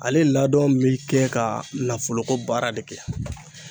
Ale ladɔn be kɛ ka nafolo ko baara de kɛ.